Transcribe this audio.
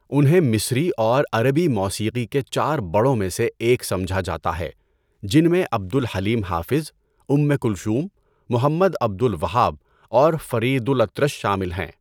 انہیں مصری اور عربی موسیقی کے چار بڑوں میں سے ایک سمجھا جاتا ہے جن میں Abdel Halim Hafez, Umm Kulthum, Mohammed Abdel Wahab اور فرید الاطرش شامل ہیں۔